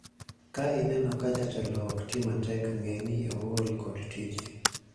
ka ineno ka jatelo ok tii matek ng'e ni ool kod tije